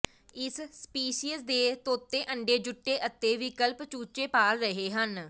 ਇਸ ਸਪੀਸੀਜ਼ ਦੇ ਤੋਤੇ ਅੰਡੇ ਜੁਟੇ ਅਤੇ ਵਿਕਲਪਿਕ ਚੂਚੇ ਪਾਲ ਰਹੇ ਹਨ